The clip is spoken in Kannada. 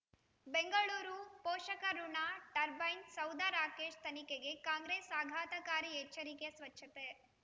ಬೆಂಗಳೂರು ಪೋಷಕಋಣ ಟರ್ಬೈನು ಸೌಧ ರಾಕೇಶ್ ತನಿಖೆಗೆ ಕಾಂಗ್ರೆಸ್ ಆಘಾತಕಾರಿ ಎಚ್ಚರಿಕೆ ಸ್ವಚ್ಛತೆ